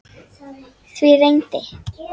Því reyndi